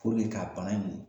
ka bana nin